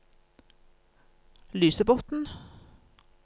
Lysebotn